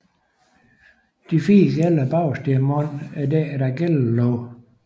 De fire gæller bagest i munden er dækket af gællelåg